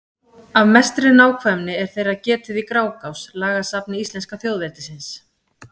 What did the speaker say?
Af mestri nákvæmni er þeirra getið í Grágás, lagasafni íslenska þjóðveldisins.